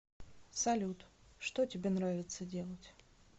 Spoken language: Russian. салют что тебе нравится делать